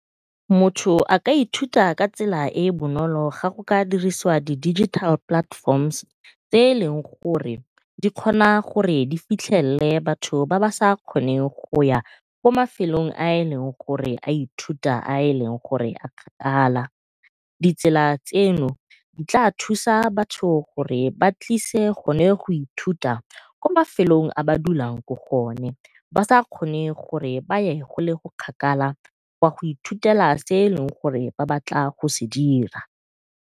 Motho a ka ithuta ka tsela e e bonolo ga go ka dirisiwa di-digital platforms tse e leng gore di kgona gore di fitlhelele batho ba ba sa kgoneng go ya ko mafelong a e leng gore a ithuta a e leng gore a kgakala. Ditsela tseno di tla thusa batho gore ba tlise gone go ithuta kwa mafelong a ba dulang ko go o ne ba sa kgone gore ba ye gole kgakala gwa go ithutela se ba batlang go se dira.